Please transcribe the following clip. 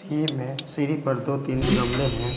में सीढ़ी पर दो तीन गमले हैं।